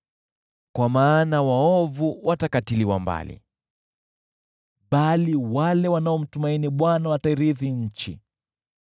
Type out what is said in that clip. Kwa maana waovu watakatiliwa mbali, bali wale wanaomtumaini Bwana watairithi nchi.